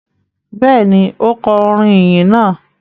Bẹ́ẹ̀ ni, ó kọ orin ìyìn náà.